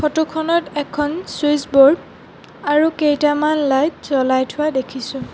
Photo খনত এখন switch board আৰু কেইটামান লাইট জ্বলাই থোৱা দেখিছোঁ।